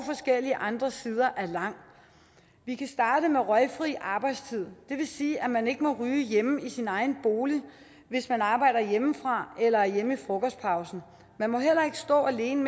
forskellige andre sider er lang vi kan starte med røgfri arbejdstid det vil sige at man ikke må ryge hjemme i sin egen bolig hvis man arbejder hjemmefra eller er hjemme i frokostpausen man må heller ikke stå alene